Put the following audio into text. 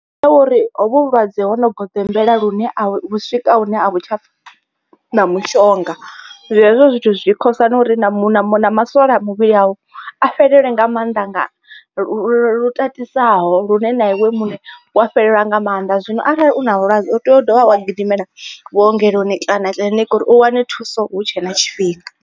Ndi tsha uri hovhu vhulwadze ho no goḓombela lune a vhu swika hune a vhu tsha na mushonga. Hezwo zwithu zwi khosa na uri na masole a muvhili awu a fhelelwe nga maanḓa nga lu tatisaho lune na iwe muṋe wa fhelelwa nga maanḓa. Zwino arali u na vhulwadze u tea u dovha wa gidimela vhuongeloni kana kiḽiniki uri u wane thuso hu tshe na tshifhinga.